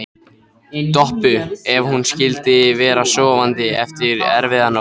Doppu ef hún skyldi vera sofandi eftir erfiða nótt.